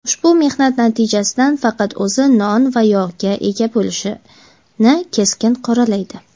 ushbu mehnat natijasidan faqat o‘zi "non va yog"ga ega bo‘lishini keskin qoralaydi.